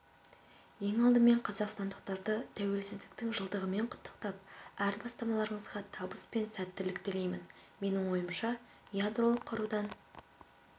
ең алдымен қазақстандықтарды тәуелсіздіктің жылдығымен құттықтап әр бастамаларыңызға табыс пен сәттілік тілеймін менің ойымша ядролық қарудан